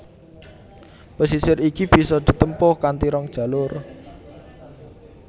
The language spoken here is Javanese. Pesisir iki bisa ditempuh kanthi rong jalur